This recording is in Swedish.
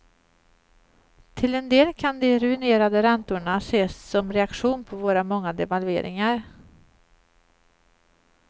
Till en del kan de ruinerande räntorna ses som reaktion på våra många devalveringar.